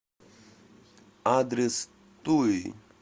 адрес туи